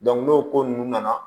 n'o ko ninnu nana